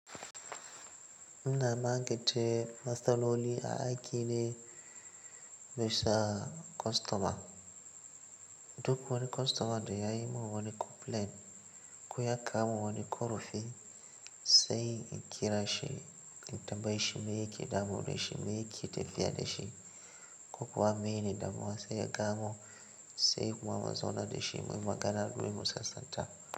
Ina magance matsaloli a aiki ne nasu kostoma. Duk wani kostoma da ya yi mun wani complain ko ya kawo wani ƙorofi sai in kira shi in tambaye shi me yake damu da shi, me yake tafiya da shi ko kuwa menene damuwa sai ya kawo sai kuma mu zauna da shi muyi magana muyi musasanta.